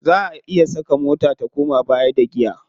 Za a iya saka mota ta koma baya da giya.